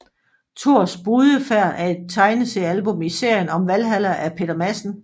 Thors brudefærd er et tegneseriealbum i serien om Valhalla af Peter Madsen